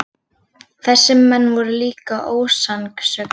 Þessir menn voru líka ósannsöglir.